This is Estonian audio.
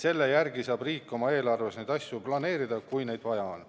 Selle järgi saab riik oma eelarves neid asju planeerida, kui vaja on.